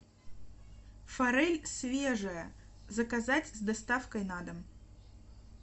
форель свежая заказать с доставкой на дом